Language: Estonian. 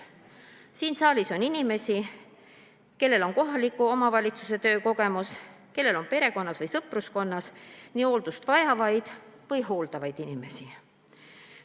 Siin saalis on inimesi, kellel on kohaliku omavalitsuse töö kogemus, kellel on perekonnas või sõpruskonnas hooldust vajavaid või kedagi hooldavaid inimesi.